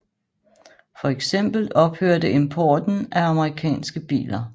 Fx ophørte importen af amerikanske biler